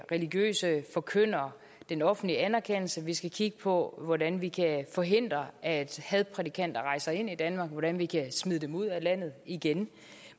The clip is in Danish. religiøse forkyndere den offentlige anerkendelse vi skal kigge på hvordan vi kan forhindre at hadprædikanter rejser ind i danmark hvordan vi kan smide dem ud af landet igen